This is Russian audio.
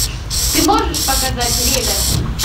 ты можешь показать ревер